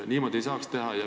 Niimoodi ei saaks teha.